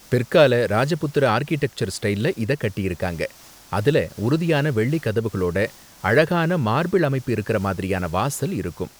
பிற்கால ராஜபுத்திர ஆர்க்கிடெக்சர் ஸ்டைல்ல இத கட்டியிருக்காங்க, அதுல உறுதியான வெள்ளி கதவுகளோட அழகான மார்பிள் அமைப்பு இருக்கற மாதிரியான வாசல் இருக்கும்.